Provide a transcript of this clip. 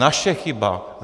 Naše chyba.